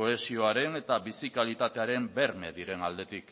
kohesioaren eta bizi kalitatearen berme diren aldetik